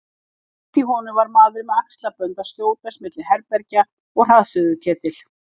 Innst í honum var maður með axlabönd að skjótast milli herbergja með hraðsuðuketil.